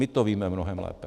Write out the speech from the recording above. My to víme mnohem lépe.